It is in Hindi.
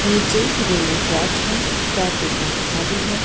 नीचे रेलवे ट्रैक है ट्रैक एकदम खाली है।